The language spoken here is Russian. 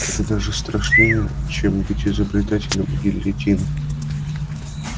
это даже страшнее чем быть изобретателем гильотины